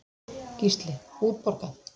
Gísli: Útborgað?